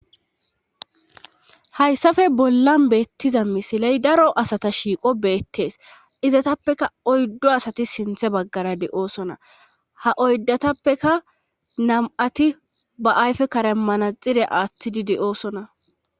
hayssafe bollan beettiza misiley daro asata shiiqo beettees izatappeka oyddo asati sinthe baggara de7oosona ha oyddatappeka nam7ati ba ayfe karemana xire aattidi de7oosona